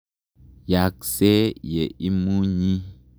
Yaakse ye imunyi.